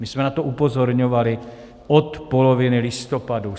My jsme na to upozorňovali od poloviny listopadu.